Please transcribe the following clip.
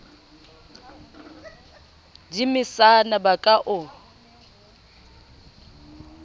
di mesana ba ka o